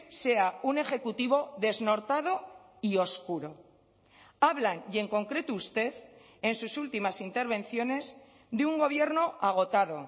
sea un ejecutivo desnortado y oscuro hablan y en concreto usted en sus últimas intervenciones de un gobierno agotado